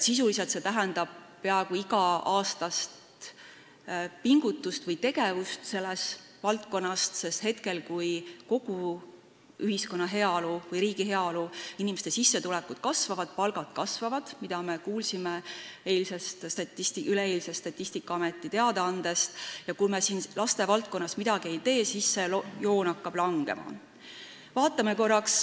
Sisuliselt tähendab see peaaegu iga-aastast pingutust või tegevust selles valdkonnas, sest praegu, kui kogu ühiskonna või riigi heaolu kasvab ning inimeste sissetulekud ja palgad kasvavad, mida me kuulsime üleeilsest Statistikaameti teadaandest, aga selles valdkonnas me midagi ei tee, siis see joon hakkab langema.